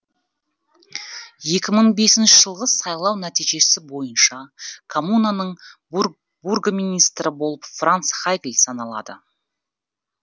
екі мың бесінші жылғы сайлау нәтижесі бойынша коммунаның бургоминистрі болып франц хайгль саналады